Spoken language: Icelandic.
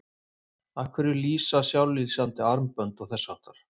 Af hverju lýsa sjálflýsandi armbönd og þess háttar?